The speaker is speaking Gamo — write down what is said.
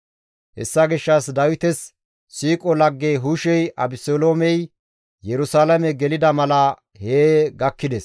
Hessa gishshas Dawites siiqo lagge Hushey Abeseloomey Yerusalaame gelida mala hee gakkides.